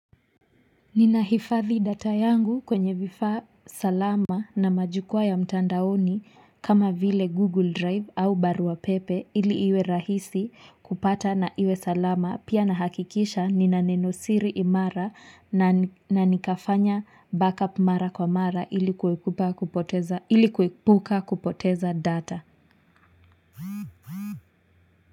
Ninahifadhi data yangu kwenye vifaa salama na majukwaa ya mtandaoni kama vile google drive au barwa pepe ili iwe rahisi kupata na iwe salama pia nahakikisha nina nenosiri imara na nikafanya backup mara kwa mara ili kuepuka kupoteza data.